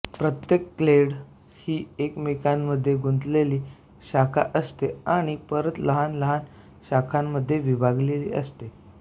प्रत्येक क्लेड ही एकमेकांमध्ये गुंतलेली शाखा असते आणि परत लहान लहान शाखांमध्ये विभागली जाते